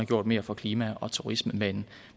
gjort mere for klima og turisme med en